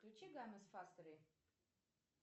включи гамес фактори